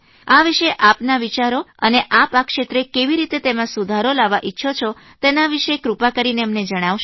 આ વિષે આપના શા વિચારો છે અને આપ આ ક્ષેત્રે કેવી રીતે તેમાં સુધારો લાવવા ઇચ્છો છો તેના વિષે કૃપા કરીને અમને જણાવશો